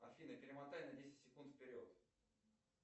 афина перемотай на десять секунд вперед